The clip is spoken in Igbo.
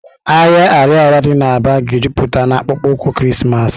Ahịa Ariaria dị na Aba ga-ejupụta na akpụkpọ ụkwụ Krismas.